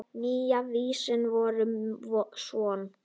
Nýja vísan var svona: